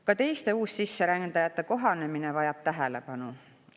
Ka teiste uussisserändajate kohanemine vajab tähelepanu.